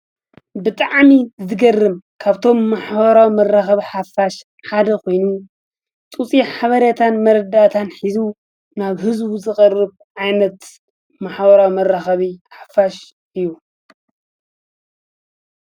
ብጣዕሚ ዝገርም ካብቶም ማሕበራዊ መራከቢ ሓፋሽ ሓደ ኮይኑ ፅፁይ ሓበሬታን መረዳእታን ሒዙ ናብ ህዝቡ ዝቐርብ ዓይነት ማሕበራዊ መራከቢ ሓፋሽ እዩ፡፡